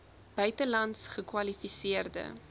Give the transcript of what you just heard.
buitelands gekwali seerde